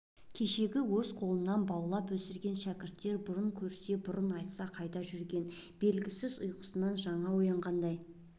кешегі өз қолынан баулып өсірген шәкірттер бұрын көрсе бұрын айтса қайда жүрген белгісіз ұйқысынан жаңа оянғандай